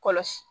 Kɔlɔsi